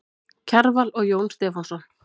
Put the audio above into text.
Kjarval og Jón Stefánsson.